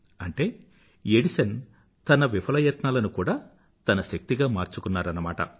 అంటే ఎడిసన్ తన విఫలయత్నాలను కూడా తన శక్తిగా మార్చుకున్నారన్నమాట